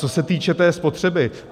Co se týče té spotřeby.